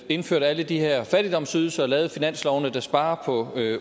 indført alle de her fattigdomsydelser og lavet de finanslove der sparer på